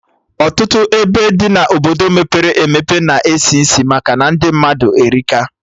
Ọtụtụ ebe dị na Obodo mepere emepe na-esi isi maka ndị mmadụ erika